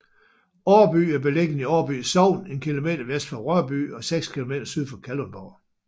Årby er beliggende i Årby Sogn en kilometer vest for Rørby og 6 kilometer syd for Kalundborg